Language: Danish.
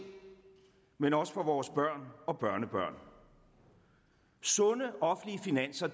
men også for vores børn og børnebørn sunde offentlige finanser